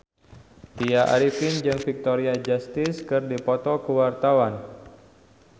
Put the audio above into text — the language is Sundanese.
Tya Arifin jeung Victoria Justice keur dipoto ku wartawan